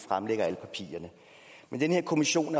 fremlægger alle papirerne men den her kommission